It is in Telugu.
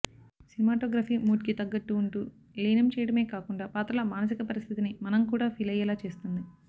సినిమాటోగ్రఫీ మూడ్కి తగ్గట్టు వుంటూ లీనం చేయడమే కాకుండా పాత్రల మానసిక పరిస్థితిని మనం కూడా ఫీలియ్యేలా చేస్తుంది